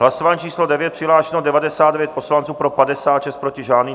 Hlasování číslo 9, přihlášeno 99 poslanců, pro 56, proti žádný.